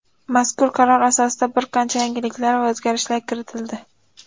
Mazkur qaror asosida bir qancha yangiliklar va o‘zgarishlar kiritildi.